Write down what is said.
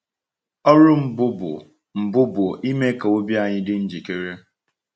Ọrụ mbụ bụ mbụ bụ ime ka obi anyị dị njikere.